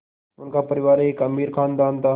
उनका परिवार एक अमीर ख़ानदान था